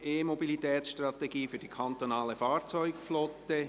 «E-Mobilitä tsstrategie fü r die kantonale Fahrzeugflotte».